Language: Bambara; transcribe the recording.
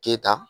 Keta